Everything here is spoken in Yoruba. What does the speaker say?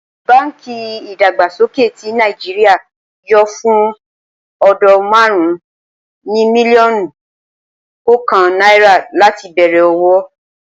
Báǹkì Ìdàgbàsókè ti Nàìjíríà yóò fún ò̩dó̩ márùn-ún ní mílíó̩nù kò̩ò̩kan naira láti bè̩rè̩ òwò